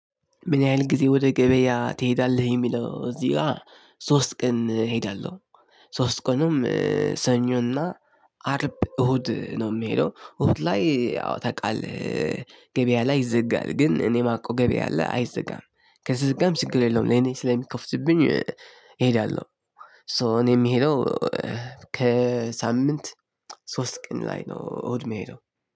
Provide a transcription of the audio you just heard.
ምን ያህል ጊዜ ወደ ገበያ ትሄዳለህ? የሚለው እዚህ ጋር ሶስት ቀን እሄዳለሁ። ሶስት ቀንም ሰኞና አርብ እሁድ ነው የሚሄደው። እሁድ ላይ ያው ታውቃለህ። ገበያ ላይ ይዘጋል። ግን እኔ ማቀው ገበያ አለ አይዘጋም። ከተዘጋም ችግር የለውም ለኔ ስለሚከፍትልኝ እሄዳለሁ። ሶ እኔ የምሄደው ከሳምንት ሶስት ቀን ላይ ነው። እሁድ የምሄደው።